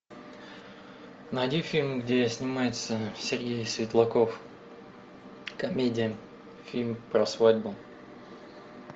найди фильм где снимается сергей светлаков комедия фильм про свадьбу